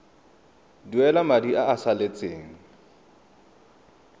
duela madi a a salatseng